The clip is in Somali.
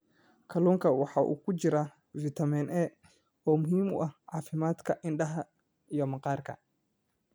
Kalluunka waxaa ku jira fitamiin A oo muhiim u ah caafimaadka indhaha iyo maqaarka.